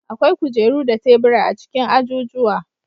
Akwai kujeru da tebura a cikin ajujuwa.